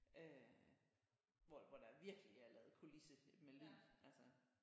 Øh hvor hvor der virkelig er lavet kulisse med med lyd altså